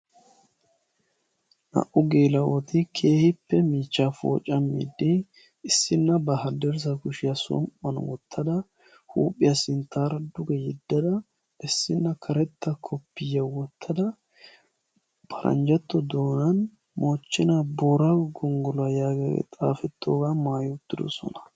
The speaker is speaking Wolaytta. Naa"u geela'oti keehippe miichchaa poocammiidi issinna ba haddirssa kushiyan som'uwan wottada huuphiya sinttaara duge yeddada issinna karetta koppiyyaa wottada paranjjatto doonaan moochchenaa booraago gonggoluwa yaagiyagee xaafettidaagaa maayi uttidosona.